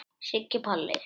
Siggi Palli.